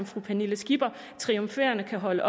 fru pernille skipper triumferende kan holde